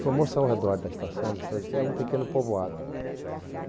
Formou-se ao redor da estação de Estrada de Ferro um pequeno povoado.